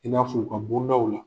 I n'a f'u ka bondaw la